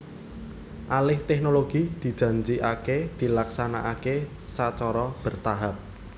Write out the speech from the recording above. Alih teknologi dijanjikaké dilaksanaké sacara bertahap